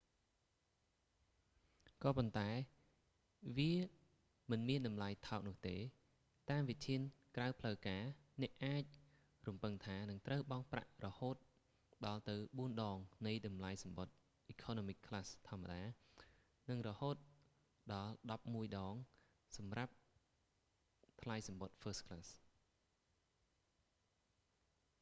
ក៏ប៉ុន្តែ វាមិនមានតម្លៃថោកនោះទេ៖ តាមវិធានក្រៅផ្លូវការ អ្នកអាចរំពឹងថានឹងត្រូវបង់ប្រាក់រហូតដល់ទៅបួនដងនៃតម្លៃសំបុត្រ economy class ធម្មតា និងរហូតដល់ដប់មួយដងសម្រាប់សម្រាប់ថ្លៃសំបុត្រ first class